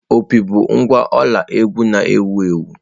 Opi bụ ngwa ọla egwú na-ewu ewu.